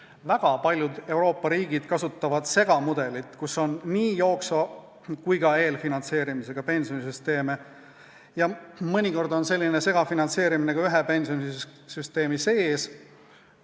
Väga paljud Euroopa riigid kasutavad segamudelit, milles on ühendatud nii jooksva kui ka eelfinantseerimisega pensionisüsteem, ja mõnikord esineb sellist segafinantseerimist ka ühe pensionisüsteemi sees.